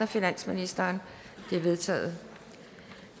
af finansministeren de er vedtaget